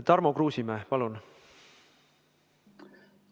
Tarmo Kruusimäe, palun!